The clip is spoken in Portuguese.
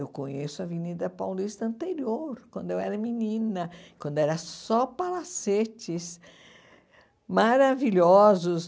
Eu conheço a Avenida Paulista anterior, quando eu era menina, quando eram só palacetes maravilhosos.